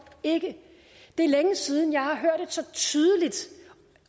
ikke det er længe siden jeg har hørt et så tydeligt